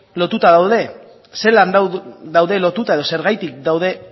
lotuta daude zelan daude lotuta edo zergatik daude